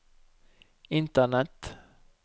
internett